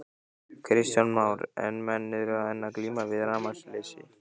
Kristján Már: En menn eru enn að glíma við rafmagnsleysi?